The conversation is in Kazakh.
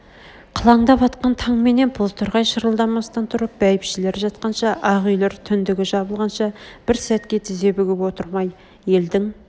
қылаңдап атқан таңменен бозторғай шырылдамастан тұрып бәйбшелер жатқанша ақ үйлер түндгі жабылғанша бір сәтке тізе бүгіп отырмай елдің